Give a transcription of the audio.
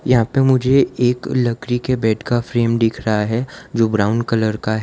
यहां पे मुझे एक लकड़ी के बेड का फ्रेम दिख रहा है जो ब्राउन कलर का है।